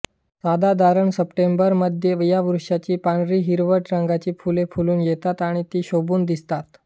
साधारण सप्टेंबर मध्ये या वृक्षाची पांढरीहिरवट रंगाची फुले फुलून येतात आणि ती शोभून दिसतात